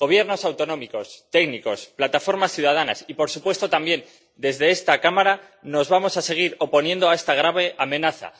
Gobiernos autonómicos, técnicos, plataformas ciudadanas y, por supuesto, también desde esta Cámara nos vamos a seguir oponiendo a esta grave amenaza